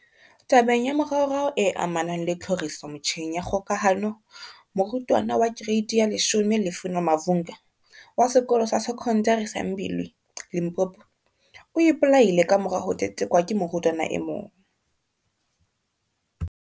Tabeng ya moraorao e amanang le tlhoriso metjheng ya kgokahano, morutwana wa Kereiti ya 10 Lufuno Mavhunga, wa Sekolo sa Se kondari sa Mbilwi, Limpopo, o ipolaile kamora ho tetekwa ke morutwana e mong.